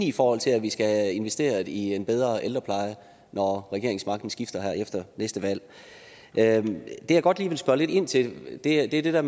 i forhold til at vi skal have investeret i en bedre ældrepleje når regeringsmagten skifter her efter næste valg det jeg godt lige vil spørge lidt ind til er det der